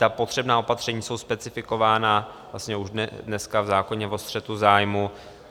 Ta potřebná opatření jsou specifikována vlastně už dneska v zákoně o střetu zájmů.